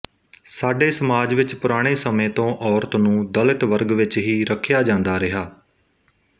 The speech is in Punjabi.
ਸਾਡੇ ਸਮਾਜ ਵਿੱਚ ਪੁਰਾਣੇ ਸਮੇਂ ਤੋ ਔਰਤ ਨੂੰ ਦਲਿਤ ਵਰਗ ਵਿੱਚ ਹੀ ਰੱਖਿਆ ਜਾਂਦਾ ਰਿਹਾ